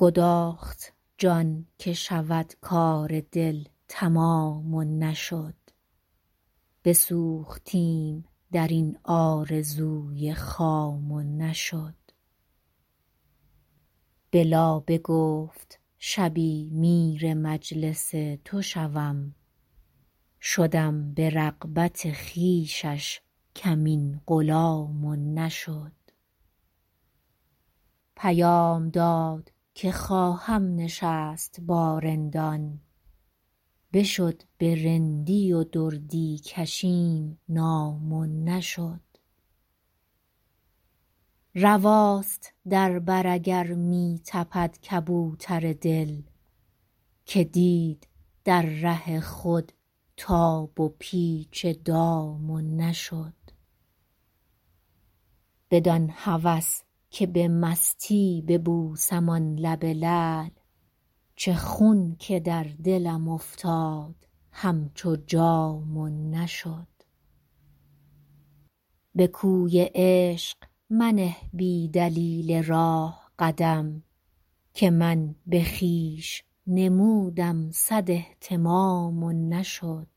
گداخت جان که شود کار دل تمام و نشد بسوختیم در این آرزوی خام و نشد به لابه گفت شبی میر مجلس تو شوم شدم به رغبت خویشش کمین غلام و نشد پیام داد که خواهم نشست با رندان بشد به رندی و دردی کشیم نام و نشد رواست در بر اگر می تپد کبوتر دل که دید در ره خود تاب و پیچ دام و نشد بدان هوس که به مستی ببوسم آن لب لعل چه خون که در دلم افتاد همچو جام و نشد به کوی عشق منه بی دلیل راه قدم که من به خویش نمودم صد اهتمام و نشد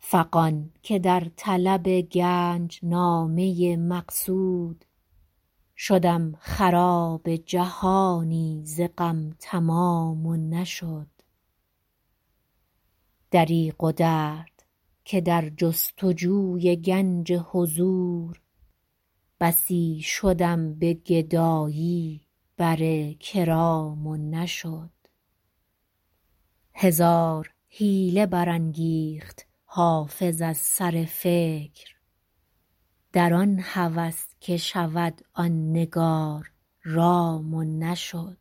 فغان که در طلب گنج نامه مقصود شدم خراب جهانی ز غم تمام و نشد دریغ و درد که در جست و جوی گنج حضور بسی شدم به گدایی بر کرام و نشد هزار حیله برانگیخت حافظ از سر فکر در آن هوس که شود آن نگار رام و نشد